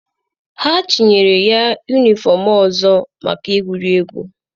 Ha chịnyere ya yunifọm ọzọ maka egwuregwu.